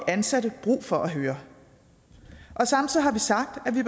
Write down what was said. ansatte brug for at høre samtidig